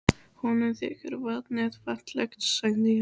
Honum þykir vatnið fallegt sagði ég.